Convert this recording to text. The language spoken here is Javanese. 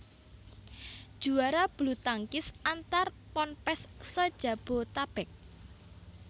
Juara bulutangkis antar Ponpes se Jabotabek